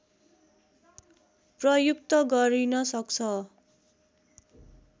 प्रयुक्त गरिन सक्छ